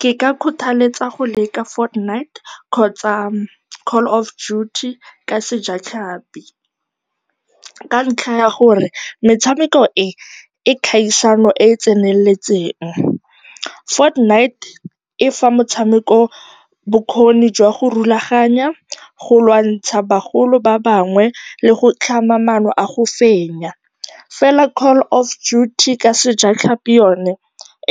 Ke ka kgothaletsa go leka Fort Knight kgotsa Call of Juty, ka sejatlhapi, ka ntlha ya gore metshameko e e kgaisano e e tseneletseng. Fort Knight e fa motshameko bokgoni jwa go rulaganya, go lwantsha bagolo ba bangwe le go tlhama maano a go fenya, fela Call of Juty ka sejatlhapi yone,